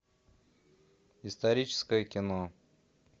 историческое кино